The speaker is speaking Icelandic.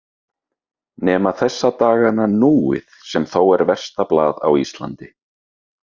Nema þessa dagana Núið sem þó er versta blað á Íslandi.